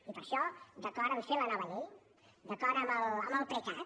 i per això d’acord amb fer la nova llei d’acord amb el precat